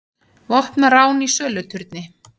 Vopnað rán í söluturni